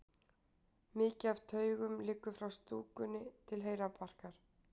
Mikið af taugum liggur frá stúkunni til heilabarkar.